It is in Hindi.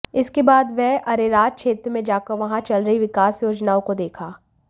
इसके बाद वह अरेराज क्षेत्र में जाकर वहां चल रही विकास योजनाओं को देखा